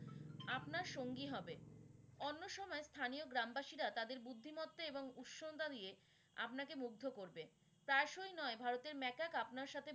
আপনার সঙ্গী হবে। অন্য সময় স্থানীয় গ্রামবাসীরা তাদের বুদ্ধিমত্তা এবং উত্সুকতা নিয়ে আপনাকে মুগ্ধ করবে। প্রায়শই নয় ভারতের ম্যাকক আপনার সাথে।